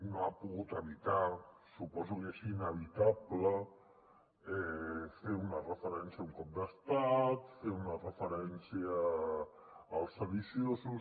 no ha pogut evitar suposo que és inevitable fer una referència a un cop d’estat fer una referència als sediciosos